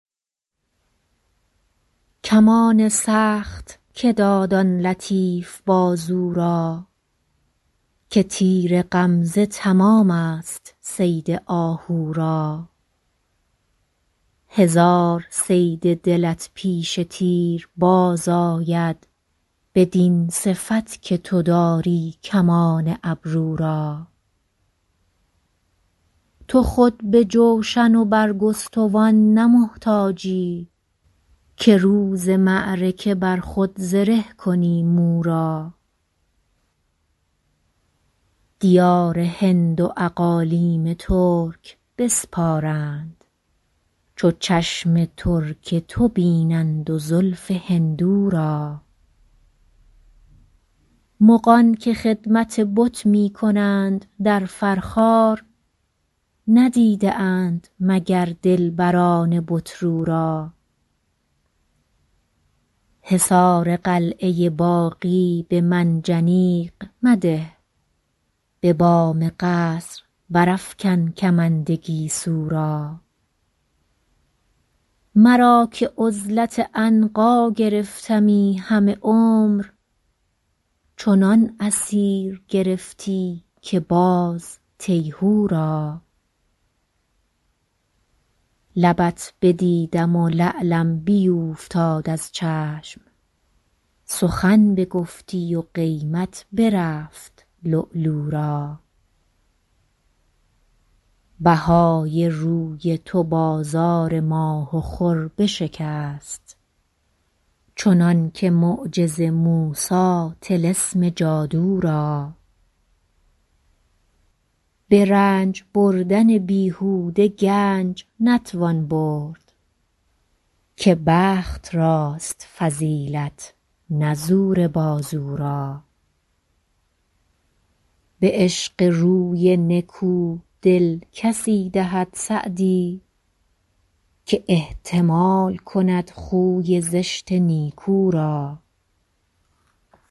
کمان سخت که داد آن لطیف بازو را که تیر غمزه تمام ست صید آهو را هزار صید دلت پیش تیر باز آید بدین صفت که تو داری کمان ابرو را تو خود به جوشن و برگستوان نه محتاجی که روز معرکه بر خود زره کنی مو را دیار هند و اقالیم ترک بسپارند چو چشم ترک تو بینند و زلف هندو را مغان که خدمت بت می کنند در فرخار ندیده اند مگر دلبران بت رو را حصار قلعه باغی به منجنیق مده به بام قصر برافکن کمند گیسو را مرا که عزلت عنقا گرفتمی همه عمر چنان اسیر گرفتی که باز تیهو را لبت بدیدم و لعلم بیوفتاد از چشم سخن بگفتی و قیمت برفت لؤلؤ را بهای روی تو بازار ماه و خور بشکست چنان که معجز موسی طلسم جادو را به رنج بردن بیهوده گنج نتوان برد که بخت راست فضیلت نه زور بازو را به عشق روی نکو دل کسی دهد سعدی که احتمال کند خوی زشت نیکو را